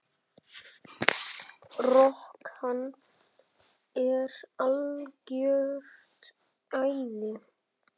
Rok, hann er algjört æði.